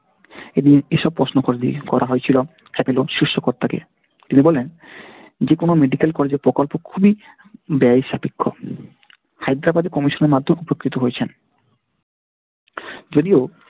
এদিকে এসব প্রশ্ন করা হয়েছিল Apollo শীর্ষ কর্তা কে। তিনি বললেন যেকোন medical college এর প্রকল্প খুবই ব্যয় সাপেক্ষ। হায়দ্রাবাদে commission এর মাধ্যমে উপকৃত হয়েছেন। যদিও,